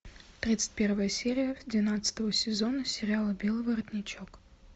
тридцать первая серия двенадцатого сезона сериала белый воротничок